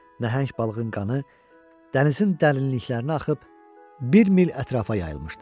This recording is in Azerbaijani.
Nəhəng balığın qanı dənizin dərinliklərinə axıb bir mil ətrafa yayılmışdı.